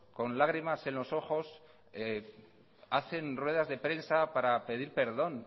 con lagrimas en los ojos hacen ruedas de prensa para pedir perdón